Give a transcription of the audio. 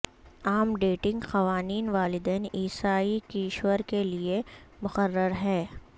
عام ڈیٹنگ قوانین والدین عیسائی کشور کے لئے مقرر ہیں